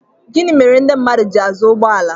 gịnị mere ndị mmadụ ji azụ ụgbọ ala